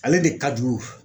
Ale de ka jugu